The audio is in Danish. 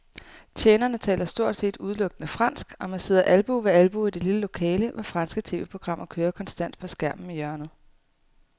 Tjenerne taler stort set udelukkende fransk, og man sidder albue ved albue i det lille lokale, hvor franske tv-programmer kører konstant på skærmen i hjørnet.